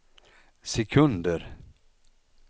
sekunder